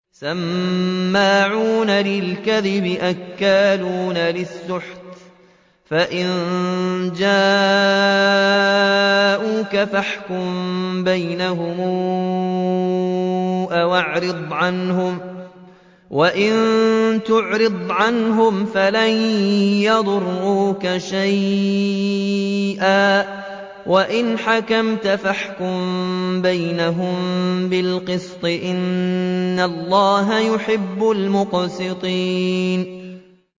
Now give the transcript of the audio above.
سَمَّاعُونَ لِلْكَذِبِ أَكَّالُونَ لِلسُّحْتِ ۚ فَإِن جَاءُوكَ فَاحْكُم بَيْنَهُمْ أَوْ أَعْرِضْ عَنْهُمْ ۖ وَإِن تُعْرِضْ عَنْهُمْ فَلَن يَضُرُّوكَ شَيْئًا ۖ وَإِنْ حَكَمْتَ فَاحْكُم بَيْنَهُم بِالْقِسْطِ ۚ إِنَّ اللَّهَ يُحِبُّ الْمُقْسِطِينَ